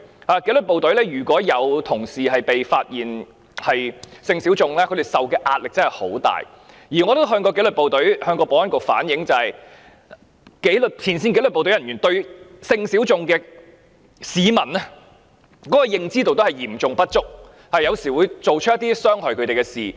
在紀律部隊，如果有同事被發現屬性小眾，他們受的壓力真的很大，而我也曾向保安局反映，前線紀律部隊人員對性小眾市民的認知嚴重不足，有時候會做出一些傷害他們的事。